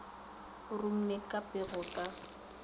o rumile ka phego ka